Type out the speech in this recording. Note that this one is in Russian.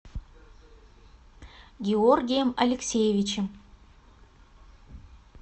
георгием алексеевичем